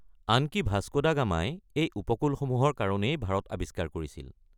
আনকি Vasco da গামাই এই উপকূলসমূহৰ কাৰণেই ভাৰত আৱিষ্কাৰ কৰিছিল।